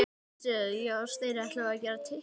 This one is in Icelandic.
Hverjir fengu aðstoð?